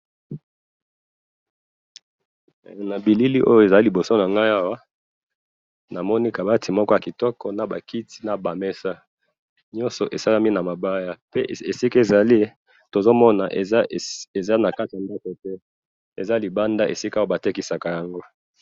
Nabilili oyo eza liboso nangayi awa, namoni kabati moko yakitoko nabakiti nabamesa, nyoso esalami namabaya, pe esika ezali tozomona eza nakati yandako te, eza libanda esika batekisaka yango